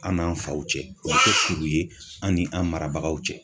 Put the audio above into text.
An n'an faw cɛ o bɛ kuru ye an ni an marabagaw cɛ.